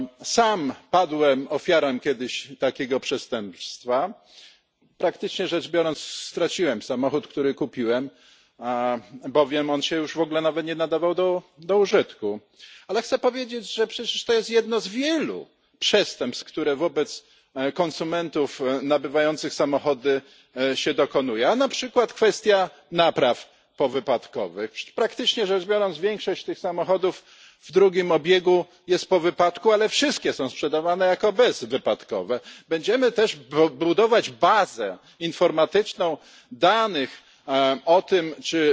Sam padłem kiedyś ofiarą takiego przestępstwa. Praktycznie rzecz biorąc straciłem samochód, który kupiłem, bowiem on się już w ogóle nie nadawał do użytku. Ale chcę powiedzieć, że przecież to jest jedno z wielu przestępstw, których wobec konsumentów nabywających samochody się dokonuje. A na przykład kwestia napraw powypadkowych? Przecież, praktycznie rzecz biorąc, większość tych samochodów w drugim obiegu jest po wypadku, ale wszystkie są sprzedawane jako bezwypadkowe. Będziemy też budować bazę informatyczną danych dotyczącą tego,